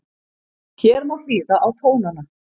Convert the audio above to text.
Hér má hlýða á tónana